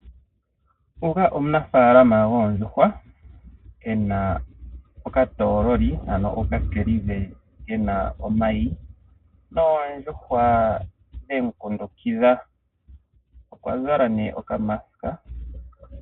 Nguka omunafaalama goondjuhwa ano ena okatoololi ano oka kiliva kena omayi noondjuhwa dhemu kundukidha, okwa zala nee oka mask.